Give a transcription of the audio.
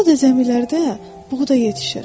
Orada zəmilərdə buğda yetişir.